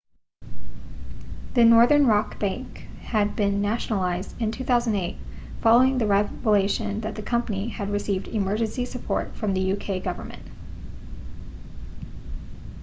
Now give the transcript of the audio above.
the northern rock bank had been nationalised in 2008 following the revelation that the company had received emergency support from the uk government